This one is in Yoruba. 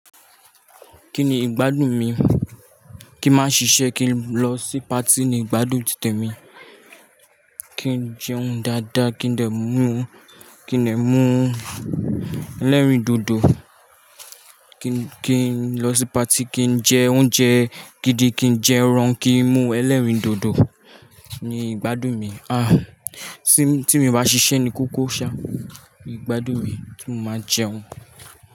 Kí ni ìgbádùn mi? Kí n máa ṣiṣẹ́, kí n lọ sí party ni ìgbádùn títè mi. Kí n jẹun dáadáa, kí n dè mú, kí n dè mú ẹlẹ́rìndòdò, kí n, kí n lọ sí party, kí n jẹ oúnjẹ gidi, kí n jẹ ẹran, kí n mú ẹlẹ́rìndòdò ni ìgbádùn mi. Ah! Tí mi o bá ṣiṣẹ́ ní kókó ṣá, ìgbádùn mi ti mó máa jẹun.